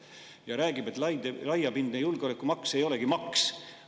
" Ja ta räägib, et laiapindne julgeolekumaks ei olegi maks.